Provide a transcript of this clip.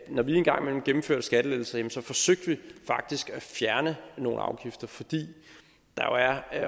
når vi engang imellem gennemførte skattelettelser forsøgte vi faktisk at fjerne nogle afgifter fordi der